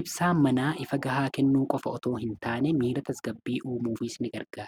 ibsaa manaa ifa gahaa kennuu qofa otoo hin taane miira tasgabbii uumuufisigarga